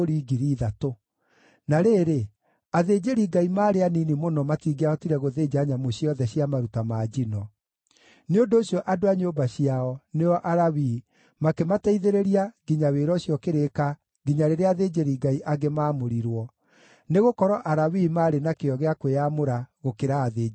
Na rĩrĩ, athĩnjĩri-Ngai maarĩ anini mũno matingĩahotire gũthĩnja nyamũ ciothe cia maruta ma njino; nĩ ũndũ ũcio andũ a nyũmba ciao, nĩo Alawii, makĩmateithĩrĩria nginya wĩra ũcio ũkĩrĩka nginya rĩrĩa athĩnjĩri-Ngai angĩ maamũrirwo, nĩgũkorwo Alawii maarĩ na kĩyo gĩa kwĩyamũra gũkĩra athĩnjĩri-Ngai.